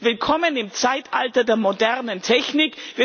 Willkommen im Zeitalter der modernen Technik!